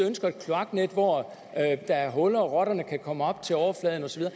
ønsker kloaknet hvor der er huller og hvor rotterne kan komme op til overfladen og så